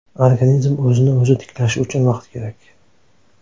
Organizm o‘zini-o‘zi tiklashi uchun vaqt kerak.